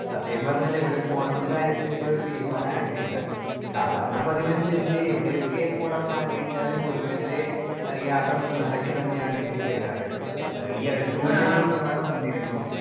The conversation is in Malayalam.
സ്പീക്കർ 1 സത്യം പറഞ്ഞാൽ എവിടെ പോണമെന്ന കാര്യത്തിൽ ഇപ്പഴും ഒരു തീരുമാനായിട്ടില്ല. സാധാരണ പതിവ് അനുസരിച്ച് എവിടെയൊക്കെ പോണന്ന് ആഗ്രഹിച്ചാലും ഒടുവിലത്തെ എഹ് യാത്ര മൂന്നാറിലേക്ക് തന്നെയാണ് എത്തിച്ചേരാർ എഹ് ഈയടുത്ത് കൂടി ഞങ്ങൾ മൂന്നാർ വന്നിരുന്നു